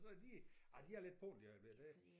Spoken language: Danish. Så de ah de er lidt på den lige i øjeblikket det